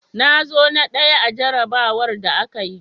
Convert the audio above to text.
Na zo na ɗaya a jarrabawar da aka yi.